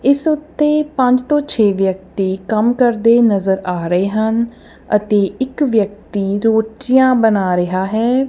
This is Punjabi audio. ਇਸ ਉੱਤੇ ਪੰਜ ਤੋਂ ਛੇ ਵਿਅਕਤੀ ਕੰਮ ਕਰਦੇ ਨਜ਼ਰ ਆ ਰਹੇ ਹਨ ਅਤੇ ਇੱਕ ਵਿਅਕਤੀ ਰੋਟੀਆ ਬਣਾ ਰਿਹਾ ਹੈ।